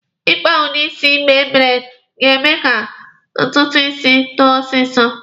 Ị kpa udi isi igbe braidi ga-eme ka ntutu isi too ọsịsọ.